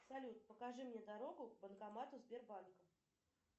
салют покажи мне дорогу к банкомату сбербанка